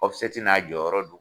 n'a jɔyɔrɔ do.